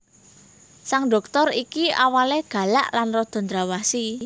Sang Dhoktor iki awalé galak lan rada ndrawasi